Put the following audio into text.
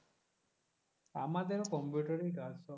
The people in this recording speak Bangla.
আমাদেরও কম্পিউটারেই কাজ সব।